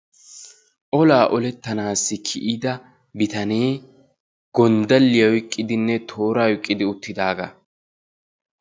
Olaa olettanaassi kiyida bitanee gonddalliya oyiqqidinne tooraa oyiqqidi uttidaagaa.